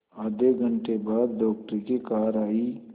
आधे घंटे बाद डॉक्टर की कार आई